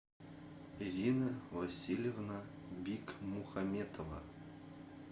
ирина васильевна бикмухаметова